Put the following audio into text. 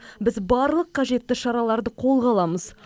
біз барлық қажетті шараларды қолға аламыз